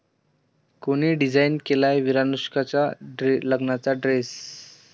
कोणी डिझाइन केलाय 'विरानुष्का'च्या लग्नाचा ड्रेस?